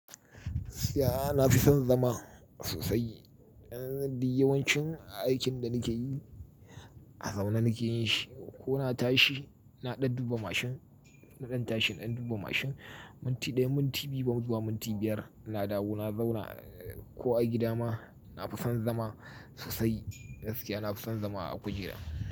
Gaskiya ana son zama sosai. Dan duk yawancin aikin da nike yi, a zaune nike yin shi. Ko na tashi na ɗan duba mashin, zan tashi in ɗan duba mashin minti ɗaya, minti biyu, ban zuwa minti biyar. Na dawo na zauna. Ko a gida ma, na fi son zama sosai. Gaskiya na fi son zama a kujera.